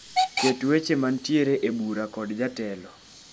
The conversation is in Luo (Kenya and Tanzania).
Ket weche mantiere e bura kod jatelo